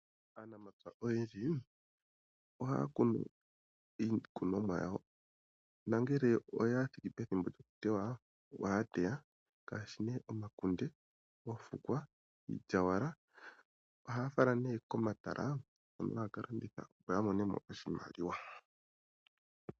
Aanafaalama oyendji ohaya kunu iikunomwa yawo. Ngele ya thiki pethimbo lyoku tewa . Ohaya teya omakunde, oofukwa, iilyaalyaaka. Ohaya fala nee komahala hono haya ka landitha opo ya mone mo oshimaliwa.